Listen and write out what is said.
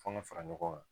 Fɔnɔ fara ɲɔgɔn kan